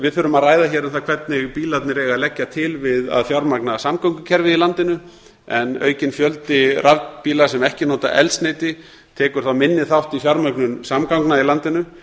við þurfum að ræða hér um það hvernig bílarnir eiga að leggja til við að fjármagna samgöngukerfið í landinu en aukinn fjöldi rafbíla sem ekki nota eldsneyti tekur þá minni þátt í fjármögnun samgangna í landinu